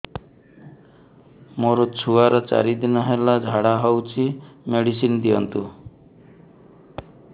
ମୋର ଛୁଆର ଚାରି ଦିନ ହେଲା ଝାଡା ହଉଚି ମେଡିସିନ ଦିଅନ୍ତୁ